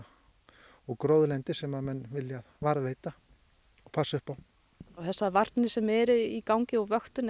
og gróðurlendi sem menn vilja varðveita og passa upp á þessar varnir sem eru í gangi og vöktun er